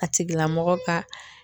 A tigila mɔgɔ ka